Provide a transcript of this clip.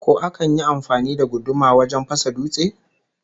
Ko akan yi amfani da guduma wajen fasa dutse?